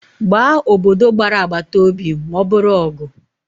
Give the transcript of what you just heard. Gbaa obodo gbara agbata obi ma ọ bụrụ ọgụ